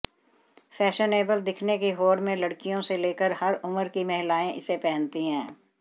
fashionable दिखने की होड़ में लड़कियों से लेकर हर उम्र की महिलाएं इसे पहनती हैं